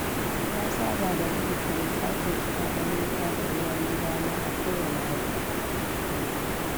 Na saba da rubuta lissafin kuɗaɗen wuta da ruwan gidana a kowane wata.